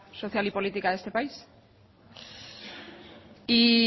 social y política de este país